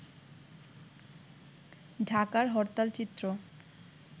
ঢাকার হরতাল চিত্র